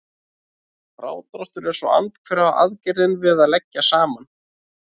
Frádráttur er svo andhverfa aðgerðin við að leggja saman.